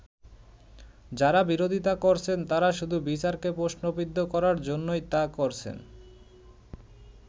যারা বিরোধিতা করছেন তারা শুধু বিচারকে প্রশ্নবিদ্ধ করার জন্যই তা করছেন।